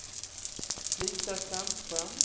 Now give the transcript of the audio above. Lisa Sandström